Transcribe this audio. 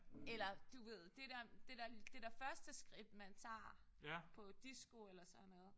Eller du ved det der det der første skridt man tager på disko eller sådan noget